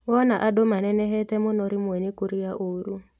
Wona andũ manenehete mũno rĩmwe nĩ kũrĩa ũru